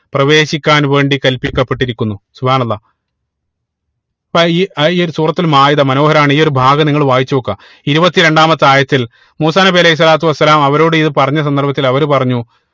പ്രവേശിക്കാൻ വേണ്ടി കല്പിക്കപ്പെട്ടിരിക്കുന്നു അപ്പൊ ഈ ഈ ഒരു സൂറത്തുൽ മാഇത മനോഹരമാണ് ഈ ഒരു ഭാഗം നിങ്ങൾ വായിച്ച് നോക്കുക ഇരുപത്തി രണ്ടാമത്തെ ആയത്തിൽ മൂസാ നബി അലൈഹി സ്വലാത്തു വസ്സലാമ അവരോട് ഇത് പറഞ്ഞ സന്ദർഭത്തിൽ അവര് പറഞ്ഞു